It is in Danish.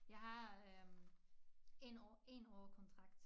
Jeg har øh en år én år kontrakt